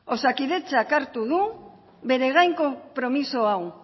osakidetzak hartu du bere gain konpromiso hau